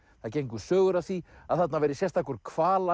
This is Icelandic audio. það gengu sögur af því að þarna væri sérstakur